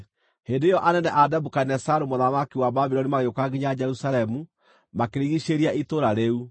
Hĩndĩ ĩyo anene a Nebukadinezaru mũthamaki wa Babuloni magĩũka nginya Jerusalemu, makĩrigiicĩria itũũra rĩu,